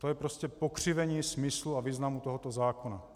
To je prostě pokřivení smyslu a významu tohoto zákona.